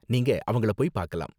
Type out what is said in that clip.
நீங்க அவங்கள போய் பாக்கலாம்.